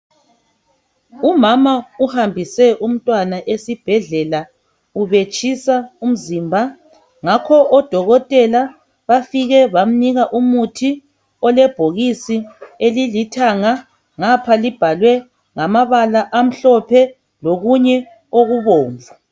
Umama uhambuse umntwana esibhedle!la. Ubetshisa umzimba. Ngakho odokotela bafike bamnika umuthi olebhokisi elilithanga. Ngapha libhalwe ngamabala amhlophe lokunye okubomvu.